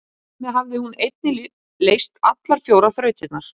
Þar með hafði hún einnig leyst allar fjórar þrautirnar.